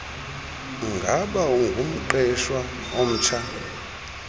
ngaba ungumqeshwa omtsha